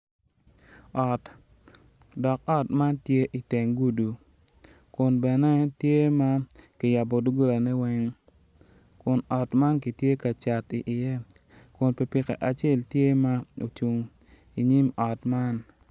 Ot, dok ot man tye i teng gudi kun bene tye ma kiyabo dog golane weng kun ot man kitye kacat iye kun pikipiki acel tye ma ocung i nyim ot man.